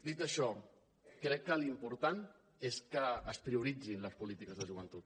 dit això crec que l’important és que es prioritzin les polítiques de joventut